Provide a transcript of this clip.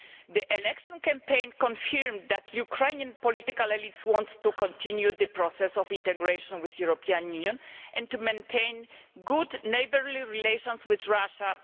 The election campaign confirmed that the Ukrainian political elite wants to continue the process of integration with the European Union and to maintain good neighbourly relations with Russia.